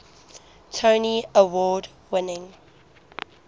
tony award winning